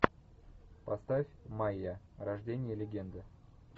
поставь майя рождение легенды